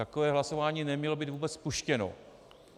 Takové hlasování nemělo být vůbec spuštěno.